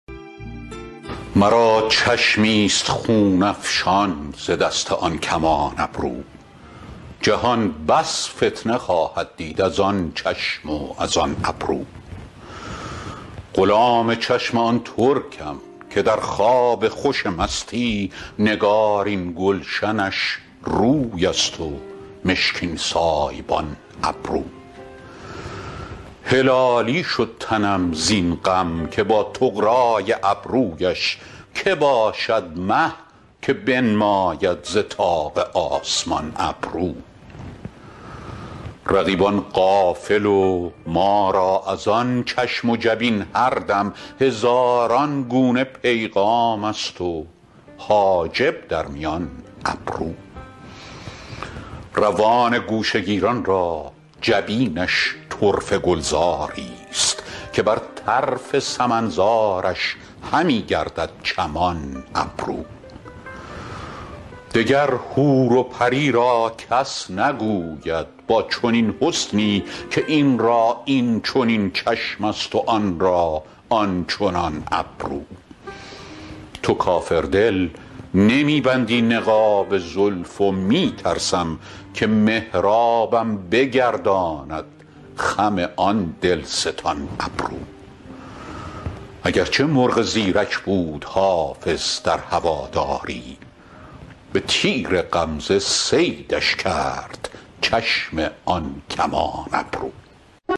مرا چشمی ست خون افشان ز دست آن کمان ابرو جهان بس فتنه خواهد دید از آن چشم و از آن ابرو غلام چشم آن ترکم که در خواب خوش مستی نگارین گلشنش روی است و مشکین سایبان ابرو هلالی شد تنم زین غم که با طغرا ی ابرو یش که باشد مه که بنماید ز طاق آسمان ابرو رقیبان غافل و ما را از آن چشم و جبین هر دم هزاران گونه پیغام است و حاجب در میان ابرو روان گوشه گیران را جبینش طرفه گلزار ی ست که بر طرف سمن زارش همی گردد چمان ابرو دگر حور و پری را کس نگوید با چنین حسنی که این را این چنین چشم است و آن را آن چنان ابرو تو کافر دل نمی بندی نقاب زلف و می ترسم که محرابم بگرداند خم آن دل ستان ابرو اگر چه مرغ زیرک بود حافظ در هوادار ی به تیر غمزه صیدش کرد چشم آن کمان ابرو